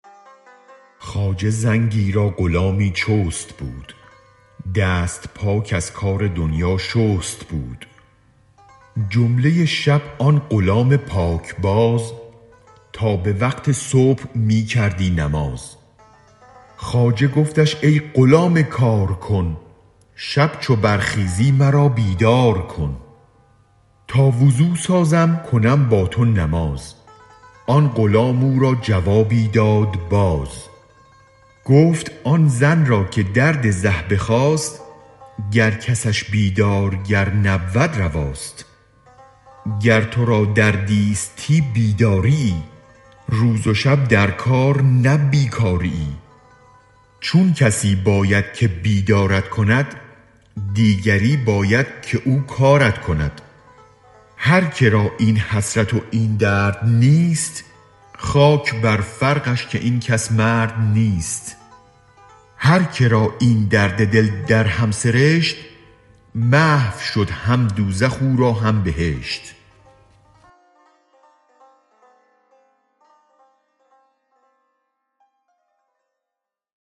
خواجه زنگی را غلامی چست بود دست پاک از کار دنیا شست بود جمله شب آن غلام پاک باز تا به وقت صبح می کردی نماز خواجه گفتش ای غلام کارکن شب چو برخیزی مرا بیدار کن تا وضو سازم کنم با تو نماز آن غلام او را جوابی داد باز گفت آن زن را که درد زه بخاست گر کسش بیدارگر نبود رواست گر ترا دردیستی بیداریی روز و شب در کار نه بی کاریی چون کسی باید که بیدارت کند دیگری باید که او کارت کند هر که را این حسرت و این درد نیست خاک بر فرقش که این کس مرد نیست هر که را این درد دل در هم سرشت محو شد هم دوزخ او را هم بهشت